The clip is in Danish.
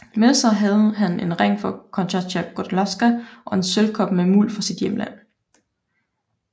Med sig havde han en ring fra Konstancja Gładkowska og en sølvkop med muld fra sit hjemland